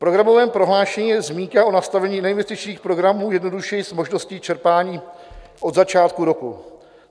V programovém prohlášení je zmínka o nastavení neinvestičních programů jednodušeji s možností čerpání od začátku roku.